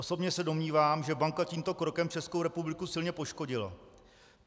Osobně se domnívám, že banka tímto krokem Českou republiku silně poškodila.